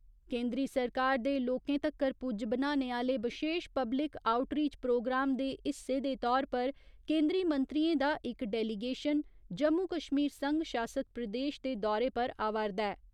केंदरी सरकार दे लोकें तक्कर पुज्ज बनाने आह्‌ले बशेश पब्लिक आउटरीच प्रोग्राम दे हिस्से दे तौर पर केंदरी मंत्रियें दा इक डेलीगेशन जम्मू कश्मीर संघ शासित प्रदेश दे दौरे पर आवा'रदा ऐ।